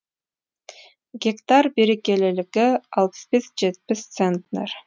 гектар берекелілігі алпыс бес жетпіс центнер